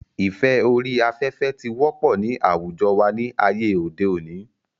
ìfẹ́ orí afẹ́fẹ́ ti wọ́pọ̀ ní àwùjọ wa ní ayé òde òni